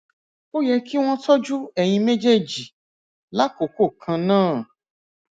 ó yẹ kí wọn tọjú ẹyin méjèèjì lákòókò kan náà